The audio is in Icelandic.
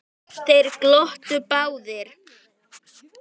Þeir glottu báðir.